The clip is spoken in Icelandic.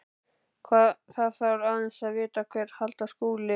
Þarf aðeins að vita hvert halda skuli.